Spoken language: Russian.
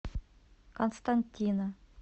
константина